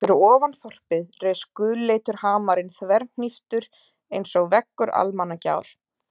Og fyrir ofan þorpið reis gulleitur hamarinn þverhníptur einsog veggur Almannagjár.